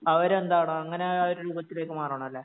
അവരെന്താണോ അങ്ങനെ ഒരു രൂപത്തിലേക്ക് മാറണം അല്ലേ